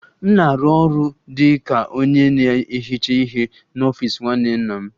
M na-arụ ọrụ dị ka onye na-ehicha ihe n'ọfịs nwanne nna m